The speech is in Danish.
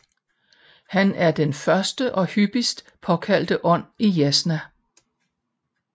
Han er den første og hyppigst påkaldte ånd i Yasna